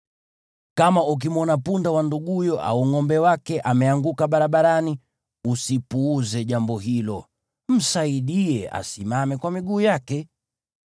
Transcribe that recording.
Kama ukimwona punda wa nduguyo au ngʼombe wake ameanguka barabarani, usipuuze jambo hilo. Msaidie asimame kwa miguu yake.